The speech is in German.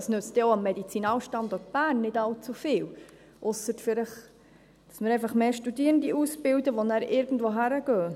das nützt auch dem Medizinalstandort Bern nicht allzu viel, ausser vielleicht, dass wir einfach mehr Studierende ausbilden, die nachher irgendwohin gehen.